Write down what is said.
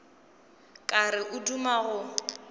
ka re o duma go